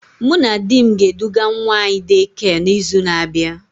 Mụ na di m ga eduga nwa anyị Daycare na izu na abịa